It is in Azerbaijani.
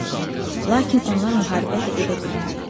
Lakin onlar müharibə də edə bilməzdilər.